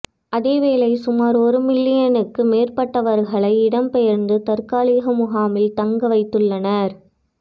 அதேவேளை சுமார் ஒரு மில்லியனுக்கு மேற்பட்டவர்களைத் இடம்பெயரந்து தற்காலிக முகாம்கில் தங்கவைத்துள்ளனர்